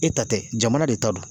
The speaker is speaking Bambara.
E ta tɛ jamana de ta do